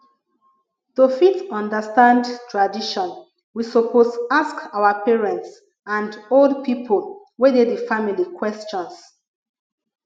to fit understand tradition we suppose ask our parents and old pipo wey de di family questions